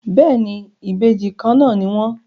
Béèni, Ìbejì Kànnà ní wón.